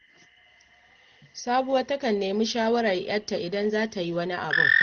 Sabuwa takan nemi shawarar ‘yarta idan za ta yi wani abun